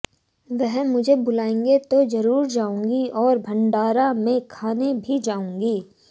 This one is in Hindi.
वह मुझे बुलाएंगे तो जरूर जाऊंगी और भंडारा में खाने भी जाऊंगी